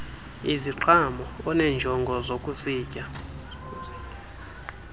iziqhamo oneenjongo zokuzitya